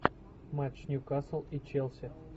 матч ньюкасл и челси